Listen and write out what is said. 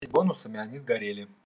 и бонусами они сгорели